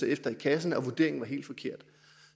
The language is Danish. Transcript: efter i kassen og vurderingen var helt forkert